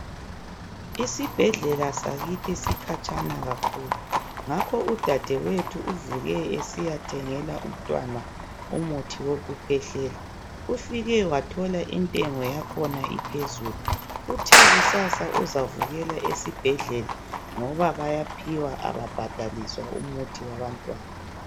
Isibhedlela sakithi sikhatshana kakhulu ngakho udadewethu uvuke esiyathengela umntwana umuthi wokukhwehlela ufike wathola intengo yakhona iphezulu, uthe kusasa uzavukela esibhedlela ngoba bayaphiwa ababhadaliswa umuthi wabantwana.